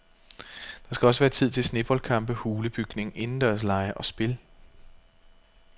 Der skal også være tid til sneboldkampe, hulebygning, indendørslege og spil.